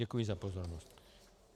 Děkuji za pozornost.